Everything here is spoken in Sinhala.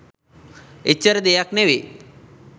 එච්චර දෙයක් නෙවෙයි.